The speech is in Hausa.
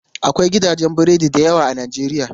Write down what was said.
Akwai gidajen burodi dayawa a najeriya.